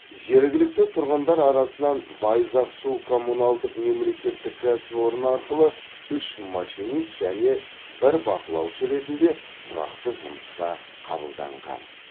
жергілікті тұрғындар арасынан байзақ су коммуналдық мемлекеттік кәсіпорны арқылы үш машинист және бір бақылаушы ретінде тұрақты жұмысқа қабылданған